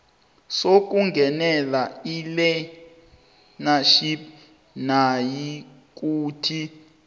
sokungenela ilearnership nayikuthi